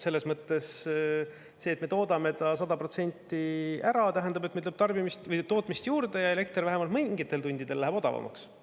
Selles mõttes see, et me toodame ta 100% ära, tähendab, et meil tuleb tootmist juurde ja elekter vähemalt mingitel tundidel läheb odavamaks.